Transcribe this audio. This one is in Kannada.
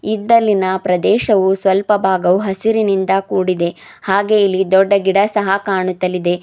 ಇದ್ದಲಿನ ಪ್ರದೇಶವು ಸ್ವಲ್ಪ ಭಾಗವು ಹಸಿರಿನಿಂದ ಕೂಡಿದೆ ಹಾಗೆಯೇ ಇಲ್ಲಿ ದೊಡ್ಡ ಗಿಡ ಸಹ ಕಾಣುತ್ತಲಿದೆ.